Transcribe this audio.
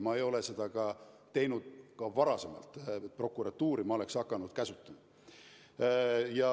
Ma ei ole ka varem seda teinud, et oleksin hakanud prokuratuuri käsutama.